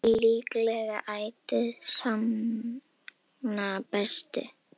Sannleikurinn er líklega ætíð sagna bestur.